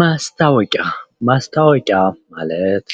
ማስታወቂያ ማስታወቂያ ማለት